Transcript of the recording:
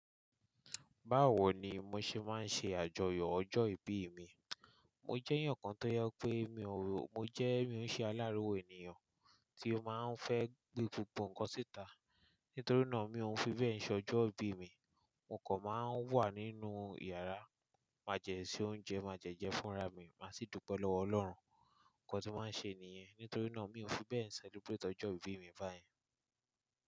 Báwo ni mo ṣe máa ń ṣe àjọyọ̀ ọjọ́ ìbí mi? Mo jẹ́yan kan tó jẹ pé mi ò ro, mo jẹ́ mi ò ṣe aláriwo ènìyàn tí ó máa ń fẹ́ gbé gbogbo ǹkan síta. Nítorí náà, mi ò ń fi bẹ́ẹ̀ ṣọjọ́ ìbí mi. Mo kàn máa ń wà nínú ìyàrá, máa dẹ̀ se oúnjẹ, máa dẹ̀ jẹ fúnra mi, má sì dúpẹ́ lọ́wọ́ Ọlọ́run. Ǹkan tí máa ń ṣe nìyẹn. Nítorí náà, mi ò fi bẹ́ẹ̀ celebrate ọjọ́ ìbí mi báyẹn.